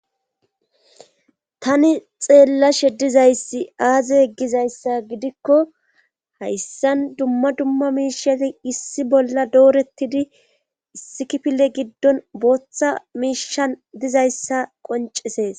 Tani xeellashe dizayssi aaze yeggizayssa gidikko hayssan dumma dumma miishati issi bolla doorettidi issikipile giddon booththa miishan dizayssa qoncesees